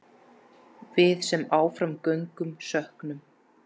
Við sem áfram göngum söknum.